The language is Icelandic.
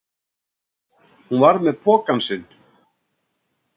Hún var með pokann sinn.